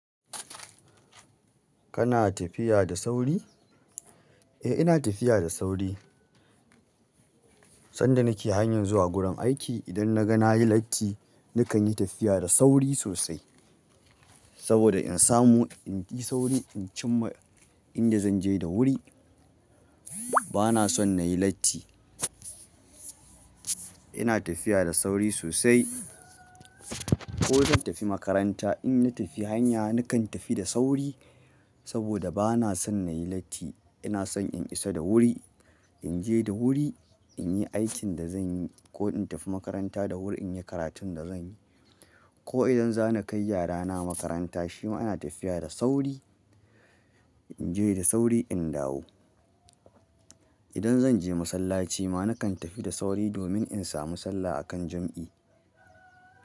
Kana tafiya da sauri? Eh ina tafiya da sauri. Sanda nake hanyar zuwa gudan aiki idan na ga nayi latti nakan yi tafiya da sauri sosai. Saboda in samu in yi sauri in cim ma inda zan je da wuri. Bana son nayi latti. Ina tafiya da sauri sosai. Ko zan tafi makaranta in na tafi hanya nakan tafi da sauri saboda bana son nayi latti. Ina son in isa da wuri, in je da wuri in yi aikin da zan yi ko in tafi makaranta da wuri in yi karatun da zan yi. Ko idan za na kai yarana makaranta shi ma ina tafiya da sauri. In je da sauri in dawo. Idan zan je masallaci ma nakan tafi da sauri domin in samu sallah a kan jam'i.